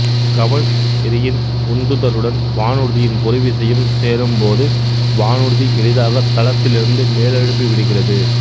கவண் எறியின் உந்துதலுடன் வானூர்தியின் பொறிவிசையும் சேரும் போது வானூர்தி எளிதாக தளத்திலிருந்து மேலெழும்பி விடுகிறது